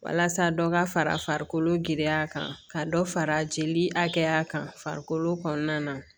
Walasa dɔ ka farakolo giriya kan ka dɔ fara jeli hakɛya kan farikolo kɔnɔna na